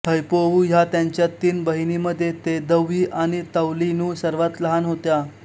हैपोऊ हया त्यांच्या तीन बहिणीमध्ये तेदौई आणि तौनीलु सर्वांत लहान होत्या